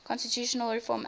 constitutional reform act